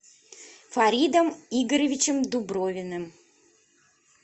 фаридом игоревичем дубровиным